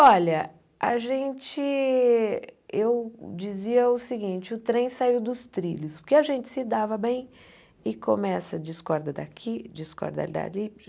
Olha, a gente eu dizia o seguinte, o trem saiu dos trilhos, porque a gente se dava bem e começa discorda daqui, discorda dali.